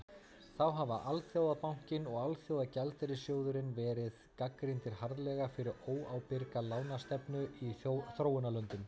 þá hafa alþjóðabankinn og alþjóðagjaldeyrissjóðurinn verið gagnrýndir harðlega fyrir óábyrga lánastefnu í þróunarlöndum